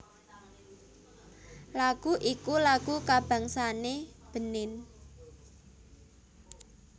lagu iku lagu kabangsane Benin